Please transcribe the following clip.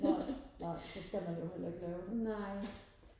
nej nej så skal man jo heller ikke lave det